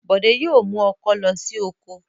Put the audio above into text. Bọ̀dé yóò mú ọkọ́ lọ sí oko.